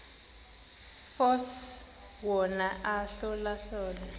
force wona ahlolahlole